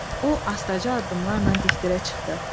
O astaca addımlarla dikdirə çıxdı.